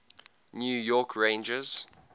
new york rangers